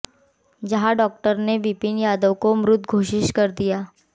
जहां डॉक्टर ने विपिन यादव को मृत घोषित कर दिया